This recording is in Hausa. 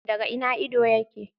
Daga ina ido yake?